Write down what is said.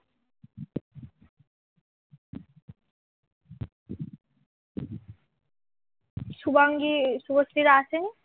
শুভাঙ্গীর, শুভশ্রীরা আসেনি